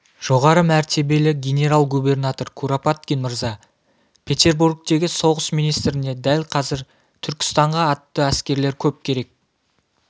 жоғары мәртебелі генерал-губернатор куропаткин мырза петербургтегі соғыс министріне дәл қазір түркістанға атты әскерлер көп керек